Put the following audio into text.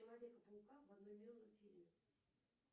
человека паука в одноименном фильме